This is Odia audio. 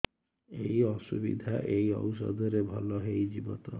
ଏଇ ଅସୁବିଧା ଏଇ ଔଷଧ ରେ ଭଲ ହେଇଯିବ ତ